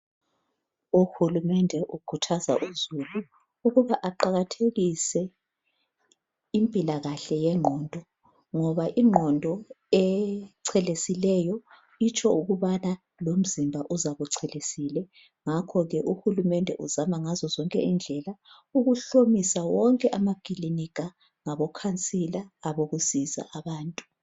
UHulumende ukhuthaza uzulu ukuba aqakathekise impilakahle yengqondo ngoba ingqondo echelesileyo itsho ukubana lomzimba uzabuchelesile ngakho ke uHulumende uzama ngazozonke indlela ukuhlomisa wonke amakilinika ngabo khansila abokusiza abantu.